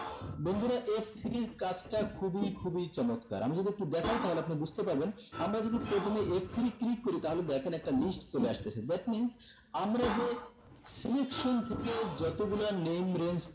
বন্ধুরা f three র কাজটা খুবি খুবি চমৎকার আমি যদি একটু দেখায় তাহলে আপনি বুজতে পারবেন আমরা যদি প্রথম f three click করি তাহলে দেখেন একটা list চলে আসতেছে that means আমরা যে selection থেকে যতগুলা name range